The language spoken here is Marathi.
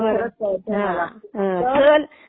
हा हा.